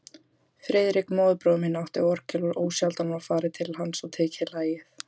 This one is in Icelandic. Friðrik, móðurbróðir minn, átti orgel og ósjaldan var farið til hans og lagið tekið.